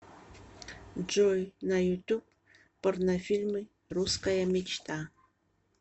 джой на ютуб порнофильмы русская мечта